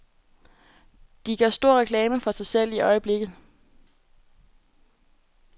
De gør stor reklame for sig selv i øjeblikket.